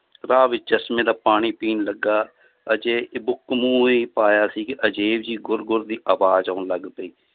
ਰਾਹ ਵਿੱਚ ਚਸ਼ਮੇ ਦਾ ਪਾਣੀ ਪੀਣ ਲੱਗਾ, ਹਜੇ ਮੂੰਹ ਹੀ ਪਾਇਆ ਸੀ ਕਿ ਅਜ਼ੀਬ ਜਿਹੀ ਗੁਰ ਗੁਰ ਦੀ ਆਵਾਜ਼ ਆਉਣ ਲੱਗ ਪਈ